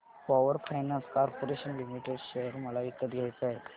power finance corporation limited share मला विकत घ्यायचे आहेत